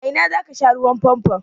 A ina za ka sha ruwan famfon?